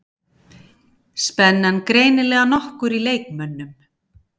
Spennan greinilega nokkur í leikmönnum